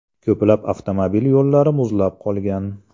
Ko‘plab avtomobil yo‘llari muzlab qolgan.